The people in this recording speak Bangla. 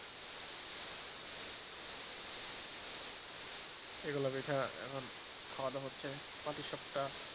এগুলো পিঠা এখন খাওয়া-দাওয়া হচ্ছে পাটিসাপ্টা,